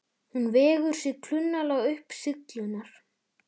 Hún vegur sig klunnalega upp syllurnar.